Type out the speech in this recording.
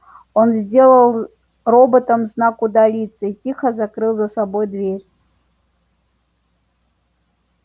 он сделал роботам знак удалиться и тихо закрыл за собой дверь